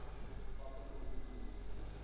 stappe gedoen het